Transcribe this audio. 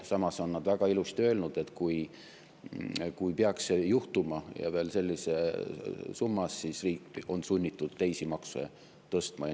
Samas on väga ilusti öelnud, et kui peaks see juhtuma ja veel sellises summas, siis riik on sunnitud teisi makse tõstma.